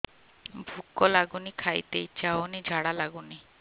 ଭୁକ ଲାଗୁନି ଖାଇତେ ଇଛା ହଉନି ଝାଡ଼ା ଲାଗୁନି